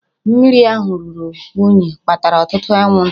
Mmiri ahụ ruru unyi kpatara ọtụtụ anwụnta